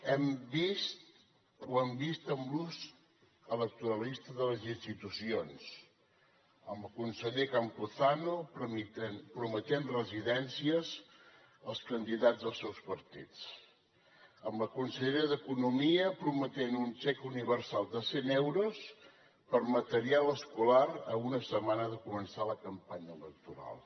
ho hem vist amb l’ús electoralista de les institucions amb el conseller campuzano prometent residències als candidats dels seus partits amb la conselleria d’economia prometent un xec universal de cent euros per a material escolar a una setmana de començar la campanya electoral